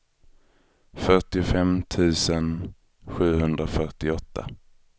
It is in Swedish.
fyrtiofem tusen sjuhundrafyrtioåtta